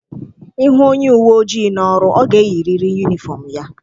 Ịhụ onye uwe ojii nọ n'ọrụ, ọ ga-eyirịrị yunifọm ya.